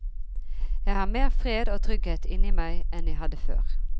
Jeg har mer fred og trygghet inne i meg enn jeg hadde før.